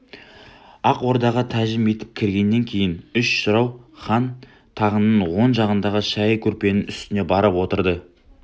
ақ ордаға тәжім етіп кіргеннен кейін үш жырау хан тағының оң жағындағы шайы көрпенің үстіне барып отырды